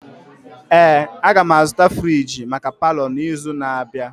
Ee, agam azụta friji maka palọ n'izu na-abịa.